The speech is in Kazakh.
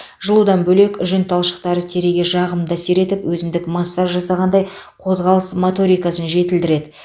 жылудан бөлек жүн талшықтары теріге жағымды әсер етіп өзіндік массаж жасағандай қозғалыс моторикасын жетілдіреді